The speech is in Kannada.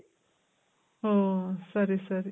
ಓ ಸರಿ ಸರಿ.